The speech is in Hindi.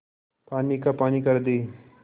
पानी का पानी कर दे